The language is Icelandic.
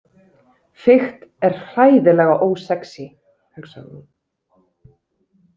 Fikt er hræðilega ósexí, hugsaði hún.